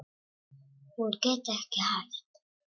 Hún getur ekki hætt.